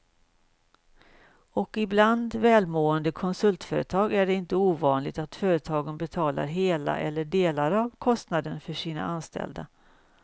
Och bland välmående konsultföretag är det inte ovanligt att företaget betalar hela eller delar av kostnaden för sina anställda.